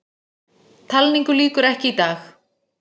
Talningu lýkur ekki í dag